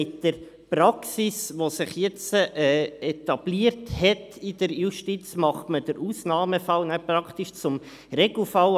Mit der Praxis, die sich in der Justiz etabliert hat, macht man den Ausnahmefall jetzt praktisch zum Regelfall.